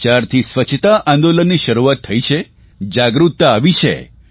જયારથી સ્વચ્છતા આંદોલનની શરૂઆત થઇ છે જાગૃતતા આવી છે